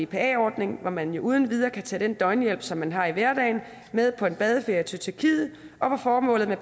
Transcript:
bpa ordningen hvor man jo uden videre kan tage den døgnhjælp som man har i hverdagen med på en badeferie til tyrkiet og formålet med